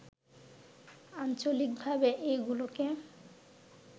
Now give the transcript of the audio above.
আঞ্চলিকভাবে এগুলোকে